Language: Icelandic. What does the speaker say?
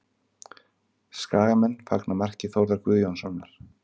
Skagamenn fagna marki Þórðar Guðjónssonar